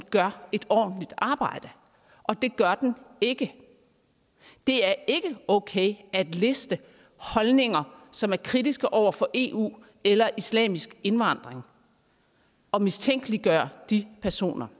gør et ordentligt arbejde og det gør den ikke det er ikke okay at liste holdninger som er kritiske over for eu eller islamisk indvandring og mistænkeliggøre de personer